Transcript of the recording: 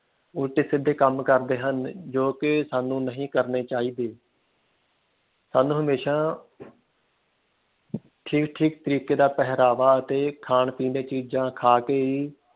ਉਲਟੇ ਸਿੱਧੇ ਕੰਮ ਕਰਦੇ ਹਨ ਜੋ ਕਿ ਸਾਨੂੰ ਨਹੀਂ ਕਰਨੇ ਚਾਹੀਦੇ। ਸਾਨੂੰ ਹਮੇਸ਼ਾ ਠੀਕ ਠੀਕ ਤਰੀਕੇ ਦਾ ਪਹਿਰਾਵਾ ਅਤੇ ਖਾਣ ਪੀਣ ਦੇ ਚੀਜਾਂ ਖਾ ਕੇ ਹੀ